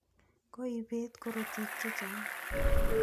Koipet korotik che chang'